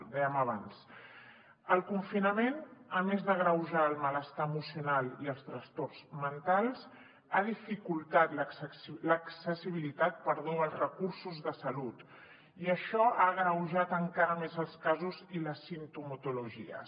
ho dèiem abans el confinament a més d’agreujar el malestar emocional i els trastorns mentals ha dificultat l’accessibilitat als recursos de salut i això ha agreujat encara més els casos i les simptomatologies